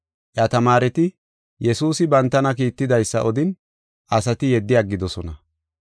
Iya tamaareti Yesuusi bantana kiittidaysa odin, asati yeddi aggidosona.